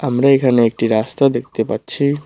আমরা এখানে একটি রাস্তা দেখতে পাচ্ছি।